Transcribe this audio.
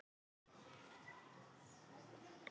Pabbi þeirra var allt annar maður á jóladag en kvöldið áður.